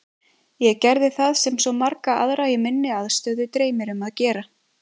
Ég gerði það sem svo marga aðra í minni aðstöðu dreymir um að gera.